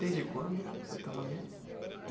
Desde quando que você está lá mesmo?